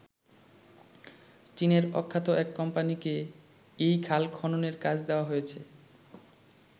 চীনের অখ্যাত এক কোম্পানিকে এই খাল খননের কাজ দেওয়া হয়েছে।